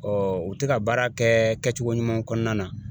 u tɛ ka baara kɛ kɛcogo ɲuman kɔnɔna na.